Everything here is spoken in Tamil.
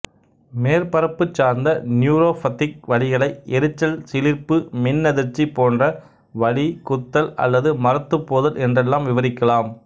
மேற்பரப்பு சார்ந்த நியூரோப்பத்திக் வலிகளை எரிச்சல் சிலிர்ப்பு மின்னதிர்ச்சி போன்ற வலி குத்தல் அல்லது மரத்துப்போதல் என்றெல்லாம் விவரிக்கலாம்